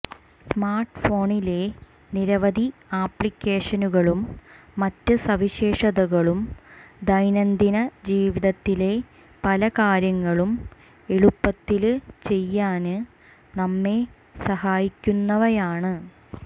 സ്മാര്ട്ട്ഫോണിലെ നിരവധി ആപ്ലിക്കേഷനുകളും മറ്റ് സവിശേഷതകളും ദൈനംദിന ജീവിതത്തിലെ പല കാര്യങ്ങളും എളുപ്പത്തില് ചെയ്യാന് നമ്മെ സഹായിക്കുന്നവയാണ്